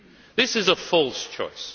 This is a false choice.